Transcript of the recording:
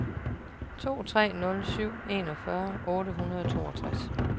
to tre nul syv enogfyrre otte hundrede og toogtres